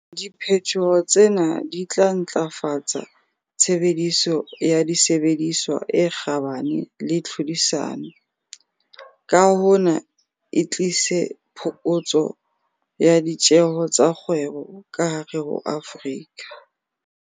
Di phetoho tsena di tla ntlafatsa tshebediso ya disebediswa e kgabane le tlhodisano, ka hona e tlise phokotso ya ditjeho tsa kgwebo ka hare ho Afrika